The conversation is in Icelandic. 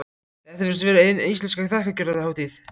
Þetta virðist vera hin íslenska þakkargjörðarhátíð.